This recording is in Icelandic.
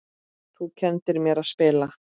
Þú kenndir mér að spila.